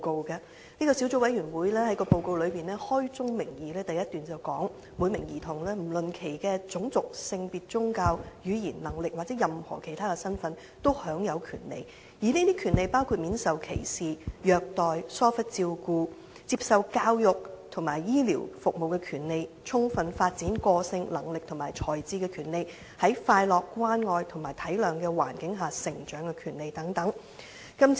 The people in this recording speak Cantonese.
該小組委員會在報告首段開宗明義指出："每名兒童，不論其種族、性別、宗教、語言、能力或任何其他身份，都享有權利......這些權利包括免受歧視、虐待及疏忽照顧的權利；接受教育及醫療等服務的權利；充分發展個性、能力和才智的權利；在快樂、關愛和體諒的環境下成長的權利等"。